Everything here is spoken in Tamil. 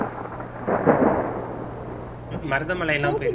மருதமலைலாம் போய்~